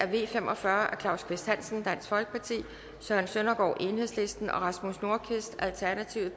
v fem og fyrre af claus kvist hansen søren søndergaard og rasmus nordqvist